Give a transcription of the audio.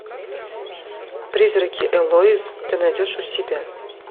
призраки элоиз ты найдешь у себя